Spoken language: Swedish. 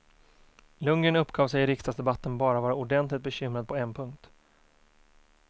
Lundgren uppgav sig i riksdagsdebatten bara vara ordentligt bekymrad på en punkt.